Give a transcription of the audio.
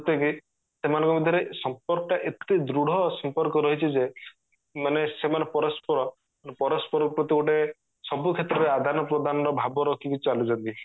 ଯେମିତି କି ଏମାନଙ୍କ ଭିତରେ ସମ୍ପର୍କ ଏତେ ଦୃଢ ସମ୍ପର୍କ ରହିଛି ଯେ ମାନେ ସେମାନେ ପରସ୍ପର ପରସ୍ପର ପ୍ରତି ଗୋଟେ ସବୁ କ୍ଷେତ୍ର ରେ ଆଦାନ ପ୍ରଦାନ ର ଭାବ ରଖିକି ଚାଲୁଛନ୍ତି